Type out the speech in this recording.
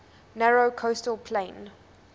narrow coastal plain